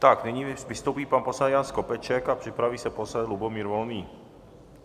Tak nyní vystoupí pan poslanec Jan Skopeček a připraví se poslanec Lubomír Volný.